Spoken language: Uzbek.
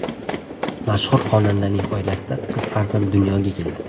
Mashhur xonandaning oilasida qiz farzand dunyoga keldi.